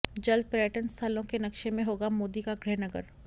जल्द पर्यटन स्थलों के नक्शे में होगा मोदी का गृहनगर